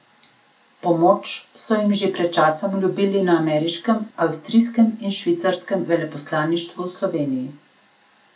Pomoč so jim že pred časom obljubili na ameriškem, avstrijskem in švicarskem veleposlaništvu v Sloveniji.